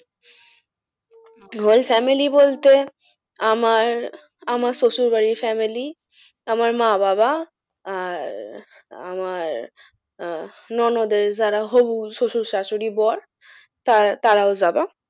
Whole family বলতে আমার আমার শ্বশুর বাড়ির family আমার মা বাবা আর আমার আহ ননদের যারা হবু শ্বশুর শাশুড়ি বর তারাও যাবা।